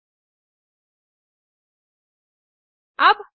अच्छी बैंडविड्थ न मिलने पर आप इसे डाउनलोड करके देख सकते हैं